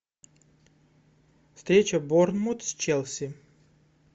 встреча борнмут с челси